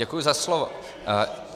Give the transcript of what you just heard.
Děkuji za slovo.